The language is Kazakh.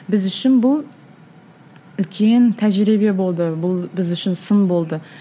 біз үшін бұл үлкен тәжірибе болды бұл біз үшін сын болды